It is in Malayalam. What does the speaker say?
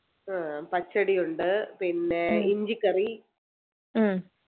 ആഹ് പച്ചടിയുണ്ട് പിന്നെ ഇഞ്ചിക്കറി